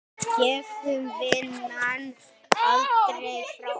Gefum vonina aldrei frá okkur.